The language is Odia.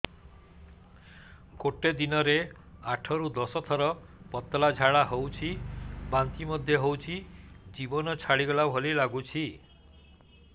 ଗୋଟେ ଦିନରେ ଆଠ ରୁ ଦଶ ଥର ପତଳା ଝାଡା ହେଉଛି ବାନ୍ତି ମଧ୍ୟ ହେଉଛି ଜୀବନ ଛାଡିଗଲା ଭଳି ଲଗୁଛି